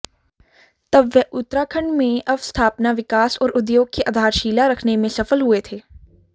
तब वह उत्तराखंड में अवस्थापना विकास और उद्योग की आधारशिला रखने में सफल हुए थे